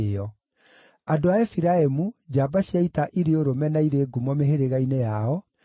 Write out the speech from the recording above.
andũ a Efiraimu, njamba cia ita irĩ ũrũme na irĩ ngumo mĩhĩrĩga-inĩ yao, maarĩ 20,800;